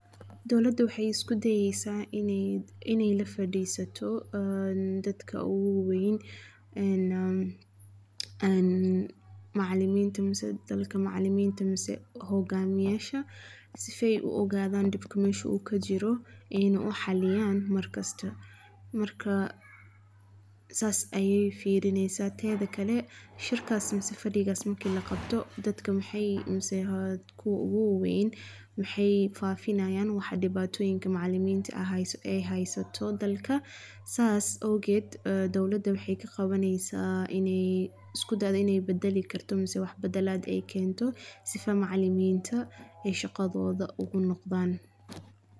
Dawladdu wexey isku dayesa iney la fadhisato dadku ogu waweyn, Macaliminta mise Hogamiyayasha, Si eey u ogadan dhibka meshu u ka jiro, eyna u xaliyaan. Markasta, sas aye firinesa. Teda kale, Shirkassi mise Fadhigasi marka la qabto, Dadka mise kuwa ogu waweyn, wexey fafinayaan dhibatoyinka hesto macaliminta dalka. Sas awgood, Dawladdu wexey isku dayesa iney badali karo ama wax badalad kento, Sifo Macalliminta shaqadoda ogu noqdan.